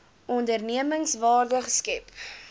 onderneming waarde skep